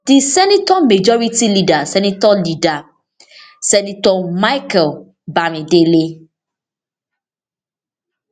di senator majority leader senator leader senator michael bamidele